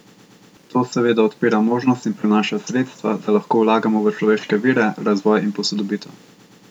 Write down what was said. To seveda odpira možnost in prinaša sredstva, da lahko vlagamo v človeške vire, razvoj in posodobitev.